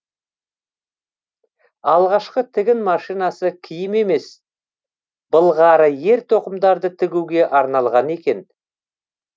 алғашқы тігін машинасы киім емес былғары ер тоқымдарды тігуге арналған екен